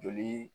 Joli